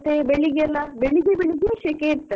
ಬೆಳಿಗ್ಗೆ ಬೆಳಿಗ್ಗೆ ಶಕೆ ಇರುತ್ತದೆ ಇಲ್ಲಿ ಕೂಡ.